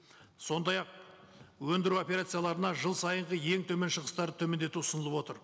сондай ақ өндіру операцияларына жыл сайынғы ең төмен шығыстарды төмендету ұсынылып отыр